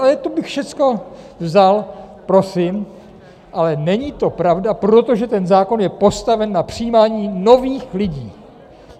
Ale to bych všecko vzal, prosím, ale není to pravda, protože ten zákon je postaven na přijímání nových lidí.